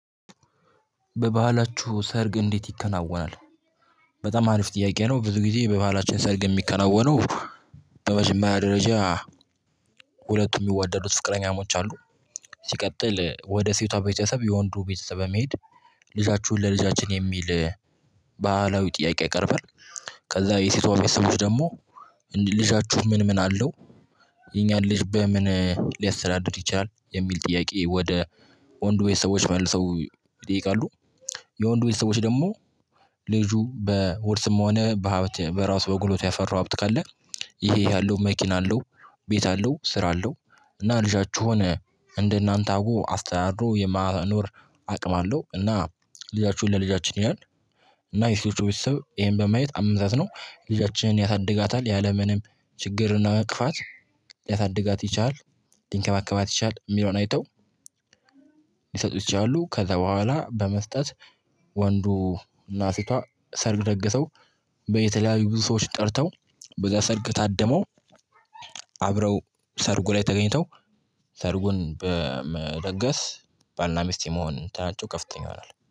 በባህላችሁ ሰርግ እንዴት ይከናወናል? በጣም አሪፍ ጥያቄ ነው ብዙ ጊዜ በባህላችን ሰርግ የሚከናወነው። በመጀመርያ ደረጃ ሁለቱም የሚወደዱት ፍቅረኛሞች አሉ። ሲቀጥል ወደ ሴቷ ቤተሰብ የወንዱ ቤተሰብ በመሄድ ልጃችሁን ለልጃችን የሚል ባህላዊ ጥያቄ ያቀርብል። ከዛ የሴቷ ቤተሰቦች ደግሞ ልጃችሁ ምን ምን አለው? የኛን ልጅ በምን ሊያስተዳድር ይችላል የሚል ጥያቄ ወደ ወንዱ ቤተሰቦች መልሰው ይጠይቃሉ። የወንዱ ቤተሰቦች ደግሞ ልጁ በውርስም ሆነ በሀብት በራሱ በጉልበቱ ያፈራው ሀብት ካለ ይሄ ይሄ አለው መኪና አለው ቤት አለው ስራ አለው። እና ልጃችሁን እንደናንተ አውቆ አስተዳድሮ የማኖር አቅም አለው እና ልጃችሁን ለልጃችን ይላል። እና የሴቶቹ ቤተሰብ ይሄን በማየት አመዛዝነው ልጃቻችንን ያሳድጋታል ያለምንም ችግር እና እንቅፋት ያሳድጋት ይችላል ሊንከባከባት ይችላል የሚለውን አይተው ሊይሰጡት ይችላሉ። ከዛ በኋላ በመስጠት ወንዱ እና ሴቷ ሰርግ ደገሰው በየተለያዩ ብዙ ሰዎች ጠርተው በዛ ሰርግ ታደመው። አብረው ሰርጉ ላይ ተገኝተው ሰርጉን በመደገስ ባልና ሚስት የመሆን እንትናቸው ከፍተኛ ይሆናል